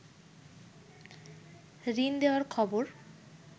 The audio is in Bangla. ঋণ দেয়ার খবর